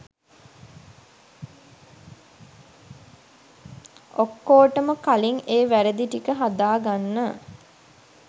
ඔක්කොටොම කලින් ඒ වැරදි ටික හදාගන්න